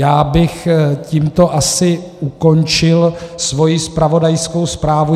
Já bych tímto asi ukončil svoji zpravodajskou zprávu.